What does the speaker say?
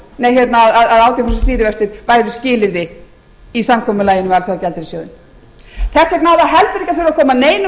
að átján prósent stýrivextir er skilyrði í samkomulaginu við alþjóðagjaldeyrissjóðinn þess vegna á það heldur ekki að þurfa að koma neinum